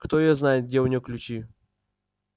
кто её знает где у неё ключи